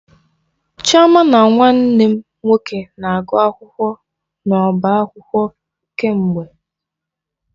Chioma na Nwanne m nwoke na-agụ akwụkwọ n'ọba akwụkwọ kemgbe.